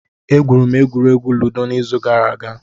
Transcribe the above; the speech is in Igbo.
Egwuru m egwuregwu ludo n'izu gara aga.